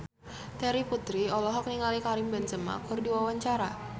Terry Putri olohok ningali Karim Benzema keur diwawancara